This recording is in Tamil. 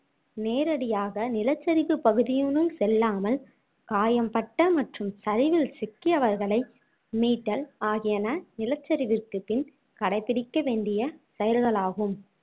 நேரடியாக நிலச்சரிவு பகுதியினுள் செல்லாமல் காயம்பட்ட மற்றும் சரிவில் சிக்கியவர்களை மீட்டல் ஆகியன நிலச்சரிவிற்கு பின் கடைபிடிக்க வேண்டிய செயல்களாகும்